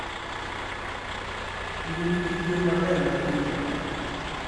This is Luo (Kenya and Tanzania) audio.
yudo nyithi gwen maber mag ring'o tek.